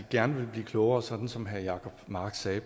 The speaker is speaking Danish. gerne vil blive klogere sådan som herre jacob mark sagde